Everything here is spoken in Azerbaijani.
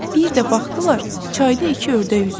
Bir də baxdılar, çayda iki ördək üzür.